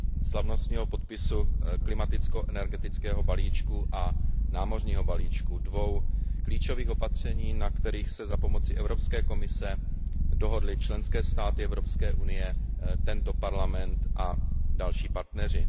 slavnostního podpisu klimaticko energetického balíčku a námořního balíčku, dvou klíčových opatření, na kterých se za pomoci Evropské komise dohodly členské státy Evropské unie, tento Parlament a další partneři.